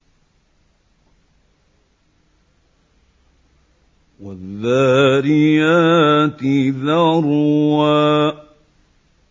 وَالذَّارِيَاتِ ذَرْوًا